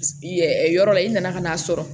yɔrɔ la i nana ka n'a sɔrɔ